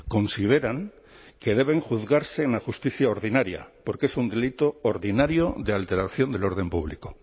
consideran que deben juzgarse en la justicia ordinaria porque es un delito ordinario de alteración del orden público